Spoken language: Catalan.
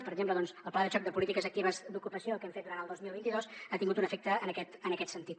per exemple el pla de xoc de polítiques actives d’ocupació que hem fet durant el dos mil vint dos ha tingut un efecte en aquest en aquest sentit